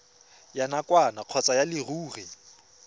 ya nakwana kgotsa ya leruri